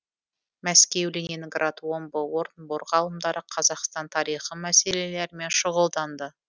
мәскеу ленинград омбы орынбор ғалымдары қазақстан тарихы мәселелерімен шұғылданды